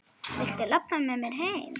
Viltu labba með mér heim?